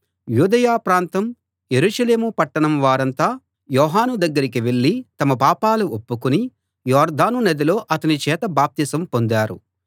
యూదయ ప్రాంతం యెరూషలేము పట్టణం వారంతా యోహాను దగ్గరికి వెళ్లి తమ పాపాలు ఒప్పుకుని యొర్దాను నదిలో అతని చేత బాప్తిసం పొందారు